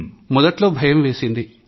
మొదట్లో భయం వేసింది